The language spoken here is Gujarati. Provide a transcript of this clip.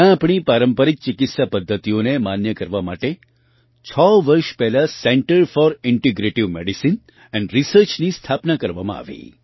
ત્યાં આપણી પારંપરિક ચિકિત્સા પદ્ધતિઓને માન્ય કરવા માટે છ વર્ષ પહેલાં centre for integrative medicine and રિસર્ચની સ્થાપના કરવામાં આવી